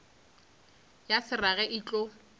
ya se rage e tlo